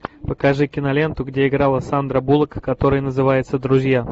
покажи киноленту где играла сандра буллок которая называется друзья